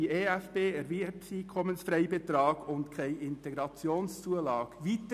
Der EFB ist jedoch tiefer und die IZU kennt man im Wallis nicht.